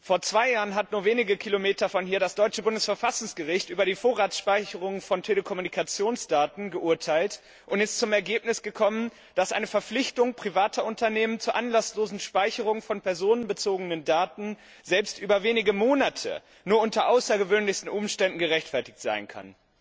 Vor zwei Jahren hat nur wenige Kilometer von hier das deutsche Bundesverfassungsgericht über die Vorratsspeicherung von Telekommunikationsdaten geurteilt und ist zu dem Ergebnis gekommen, dass eine Verpflichtung privater Unternehmen zur anlasslosen Speicherung von personenbezogenen Daten selbst über wenige Monate nur unter außergewöhnlichsten Umständen gerechtfertigt sein kann.